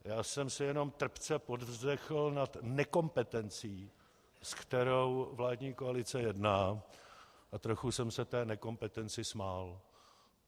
Já jsem si jenom trpce povzdechl nad nekompetencí, s kterou vládní koalice jedná, a trochu jsem se té nekompetenci smál.